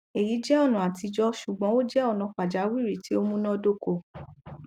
eyi jẹ ọna atijọ ṣugbọn o jẹ ọna pajawiri ti o munadoko